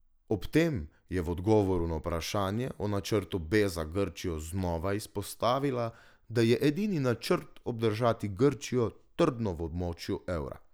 Ob tem je v odgovoru na vprašanje o načrtu B za Grčijo znova izpostavila, da je edini načrt obdržati Grčijo trdno v območju evra.